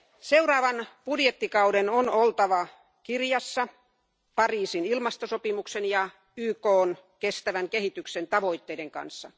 Seuraavan budjettikauden on oltava linjassa Pariisin ilmastosopimuksen ja YKn kestävän kehityksen tavoitteiden kanssa.